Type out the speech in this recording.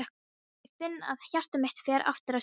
Ég finn að hjarta mitt fer aftur að slá.